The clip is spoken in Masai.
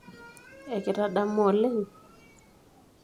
Ekitadamua oleng?